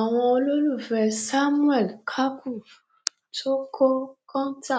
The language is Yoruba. àwọn olólùfẹ samuel kaku tó kọ kóńtà